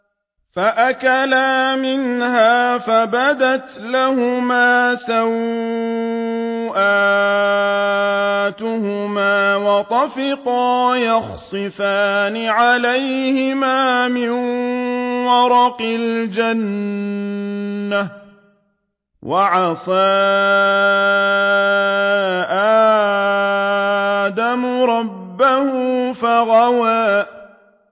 فَأَكَلَا مِنْهَا فَبَدَتْ لَهُمَا سَوْآتُهُمَا وَطَفِقَا يَخْصِفَانِ عَلَيْهِمَا مِن وَرَقِ الْجَنَّةِ ۚ وَعَصَىٰ آدَمُ رَبَّهُ فَغَوَىٰ